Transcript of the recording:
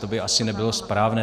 To by asi nebylo správné.